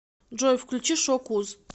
джой включи шок уз